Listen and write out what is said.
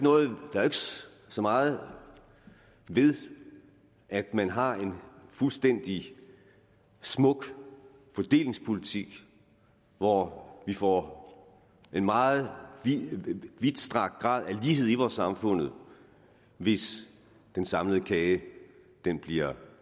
så meget ved at man har en fuldstændig smuk fordelingspolitik hvor vi får en meget vidtstrakt grad af lighed i vores samfund hvis den samlede kage bliver